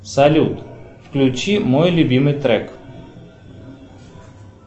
салют включи мой любимый трек